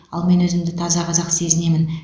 ал мен өзімді таза қазақ сезінемін